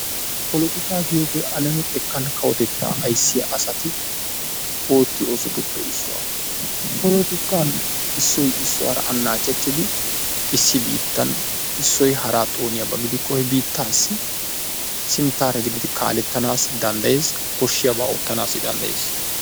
Polotikaa giyoogee alame xekkan kawotettaa ayissiya asati oottiyo oosotuppe issuwa. Polotikan issoy issuwaara annaacettidi issi biittan issoy haraa xooniyaba gidikko he biittaassi sinttaara gididi kaalettana danddayees. Koshshiyabaa oottanaassi danddayees.